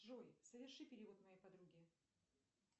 джой соверши перевод моей подруге